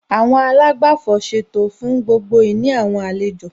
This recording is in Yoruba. Àwọn àlágbàfọ̀ ṣètò fún gbogbo ìní àwọn àlejò